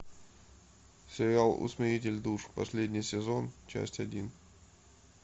сериал усмиритель душ последний сезон часть один